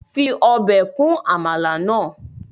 Fi obe kun amala naa